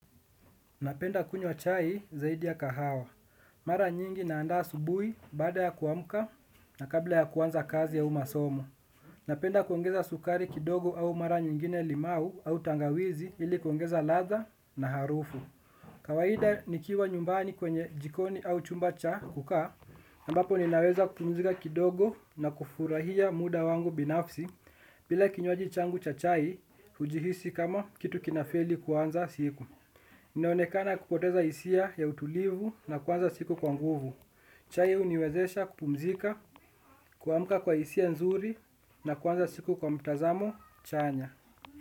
Napenda kunywa chai zaidi ya kahawa. Mara nyingi na andaa asubuhi baada ya kuamka na kabla ya kuanza kazi au masomo. Napenda kuongeza sukari kidogo au mara nyingine limau au tangawizi ili kuongeza ladha na harufu. Kawaida nikiwa nyumbani kwenye jikoni au chumba cha kukaa, ambapo ninaweza kupumzika kidogo na kufurahia muda wangu binafsi bila kinywaji changu cha chai hujihisi kama kitu kinafeli kuanza siku. Ninaonekana kupoteza hisia ya utulivu na kuanza siku kwa nguvu. Chai huniwezesha kupumzika, kuamka kwa hisia nzuri na kuanza siku kwa mtazamo chanya.